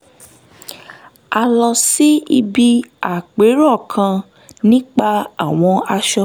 a lọ síbi àpérò kan nípa àwọn aṣọ